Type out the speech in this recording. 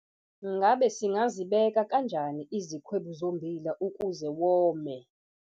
Ngabe singazibeka kanjani izikhwebu zommbila ukuze wome?